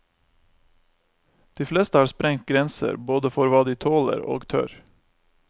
De fleste har sprengt grenser, både for hva de tåler og tør.